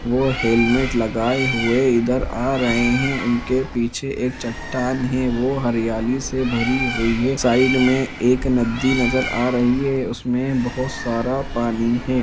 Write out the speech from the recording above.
वो हेलमेट लगाए हुई इधर आ रहे है उनके पीछे एक चट्टान है वो हरियाली से भरी हुई है साइड में एक नदी नज़र आ रही है उसमे बहुत सारा पानी है।